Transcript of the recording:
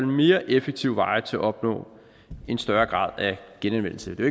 mere effektive veje til at opnå en større grad af genanvendelse det